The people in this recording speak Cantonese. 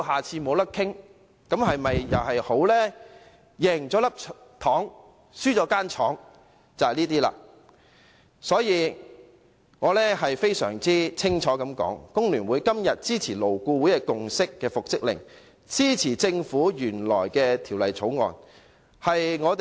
這便是"贏了一顆糖，輸了一間廠"。我要清楚說明，工聯會今天支持勞顧會已達成共識的復職令安排，以及政府提交的《條例草案》。